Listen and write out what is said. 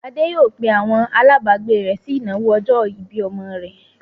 Adé yóò pe àwọn alágbàágbé rẹ̀ sí ìnáwó ọjọ́-ìbí ọmọ rẹ̀.